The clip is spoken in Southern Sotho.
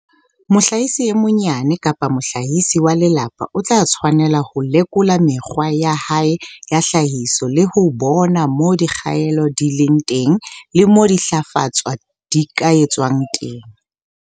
Mohlahisi e monyane kapa mohlahisi wa lelapa o tla tshwanela ho lekola mekgwa ya hae ya tlhahiso le ho bona moo dikgaello di leng teng le moo dintlafatso di ka etswang teng.